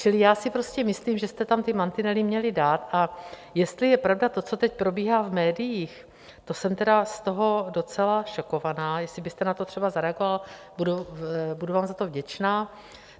Čili já si prostě myslím, že jste tam ty mantinely měli dát, a jestli je pravda to, co teď probíhá v médiích, to jsem teda z toho docela šokovaná, jestli byste na to třeba zareagoval, budu vám za to vděčná.